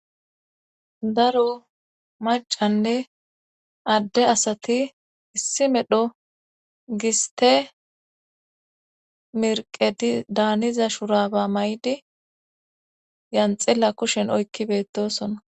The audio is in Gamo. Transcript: daro macanne adde asati issi medho giste merqedi daaniza shuraba maydi yanxilla kushen oykki beettosona